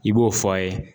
I b'o fɔ a ye